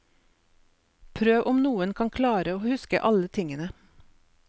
Prøv om noen kan klare å huske alle tingene.